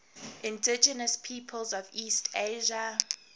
indigenous peoples of east asia